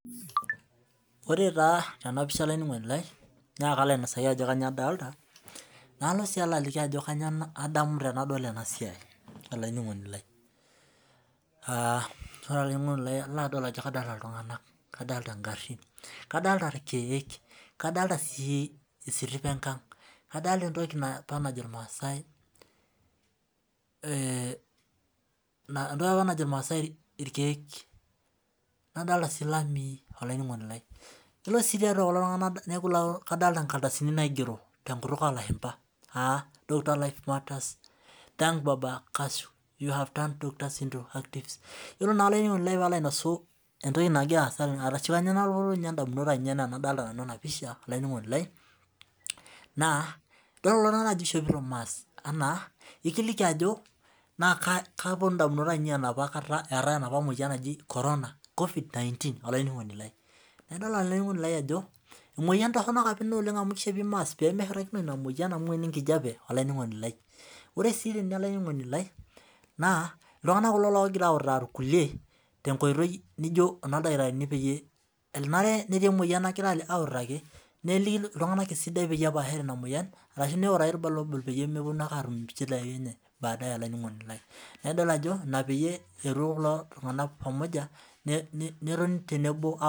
Ore taa tenapisha olaininingoni lai na kalo ainasaki ajo kanyio adolta nalo aliki ajo kanyio adamu tanadol enasia olaininingoni lai aa kadollta ltunganak kadolta ngarin kadolta irkiek kadolta si esitipa enkang kadolta entoki apa najo irmaasai irkiek nadolta ilamii yiolo si tiatua kulo tunganak ladolta nkardasini naigero tenkutuk olashumba doctors life matters thanks you havedone iyolo na olaininingoni lai palo ainasu adol ajo emoyian toronok inabnaishopi mask pemeshurtakinoi ore si olaininingoni lai na ltunganak kulo ogira autaa irkulie peyie enarebnetii emoyian nagira aliki neliki pepashare inamoyian pemeponu ake atum nchidai olaininingoni lai neaku kitadolu ajo inapeyie petoni tenebo.